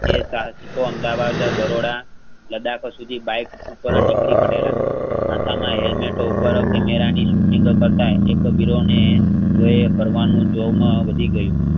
જે સાહસિકો અમદાવાદ, બરોડા લડાખ સુઘી bike પુકરોનીકળીપડેલા માથામાં હેલ્મેટ ઉપર camera ની શુટિંગ કરતા એકવીરોનેજોયે કરવાનું જોરમાં વધીગયુ.